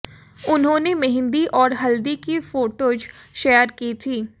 उन्होंने मेहंदी और हल्दी की फोटोज शेयर की थी